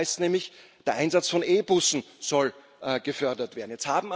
Da heißt es nämlich Der Einsatz von E Bussen soll gefördert werden.